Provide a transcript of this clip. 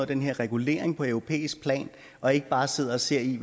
den her regulering på europæisk plan og ikke bare sidde og se